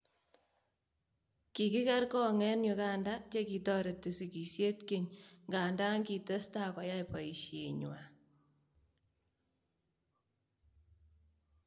Kiki ker kong� eng Uganda che kitareeti sigisiet keny, nganta kitestaa koyai boisyeenywaan